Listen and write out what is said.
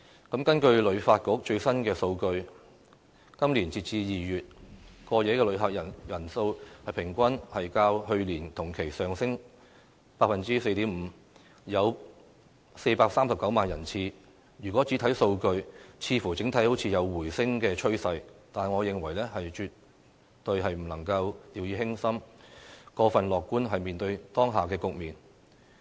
根據香港旅遊發展局最新的數據，今年截至2月，過夜的旅客人數平均較去年同期上升 4.5%， 有439萬人次，如果只看數據，似乎整體有回升趨勢，但我認為絕對不能掉以輕心，過分樂觀面對當下局面。